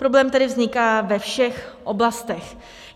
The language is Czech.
Problém tedy vzniká ve všech oblastech.